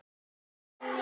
Þetta var amma hans Jóa.